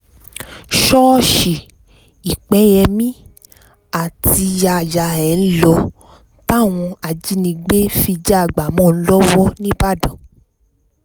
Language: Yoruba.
ṣọ́ọ̀ṣì lpẹyẹmi àtiyayá ẹ̀ ń lò táwọn ajìnígbé fi já a a gbà mọ́ ọn lọ́wọ́ nìbàdàn